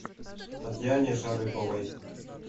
татьяне шарыповой